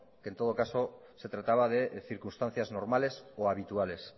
que en todo caso se trataba de circunstancia normales o habituales